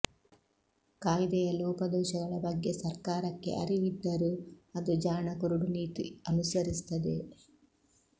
ಕಾಯ್ದೆಯ ಲೋಪದೋಷಗಳ ಬಗ್ಗೆ ಸರ್ಕಾರಕ್ಕೆ ಅರಿವಿದ್ದರೂ ಅದು ಜಾಣ ಕುರುಡು ನೀತಿ ಅನುಸರಿಸುತ್ತದೆ